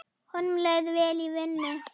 Honum leið vel í vinnu.